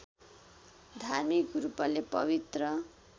धार्मिक रूपले पवित्र